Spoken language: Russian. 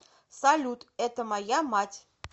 салют это моя мать